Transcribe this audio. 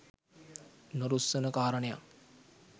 නොරුස්සන කාරණයක්